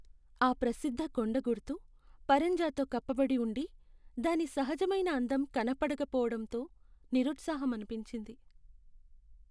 ఆ ప్రసిద్ధ కొండగుర్తు పరంజాతో కప్పబడి ఉండి, దాని సహజమైన అందం కనపడకపోవడంతో నిరుత్సాహమనిపించింది.